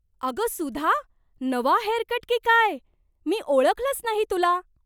अगं सुधा, नवा हेअरकट की काय! मी ओळखलंच नाही की तुला!